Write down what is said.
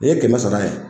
Ni ye kɛmɛ sara ye